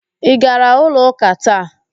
Ị gara ụlọ ụ́kà taa?